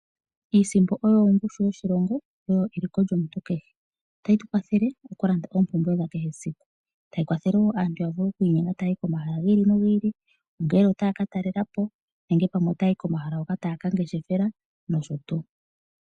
Iisimpo oyo ongushu yoshilongo oyo eliko lyomuntu kehe otayi tu kwathele oku landa oompumbwe dha kehesiku tayi kwathele wo aantu ya vule oku inyenga taya yi ko mahala gi ili nogi ili ongele otaya ka talelapo nenge pamwe otayayi ko mahala hoka taya ka ngeshefela nosho tuu.